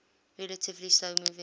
relatively slow moving